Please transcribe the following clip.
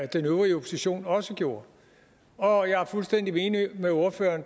den øvrige opposition også gjorde og jeg er fuldstændig enig med ordføreren